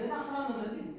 Axıranı da bilmirəm.